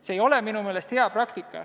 See ei ole minu meelest hea praktika.